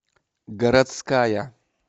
городская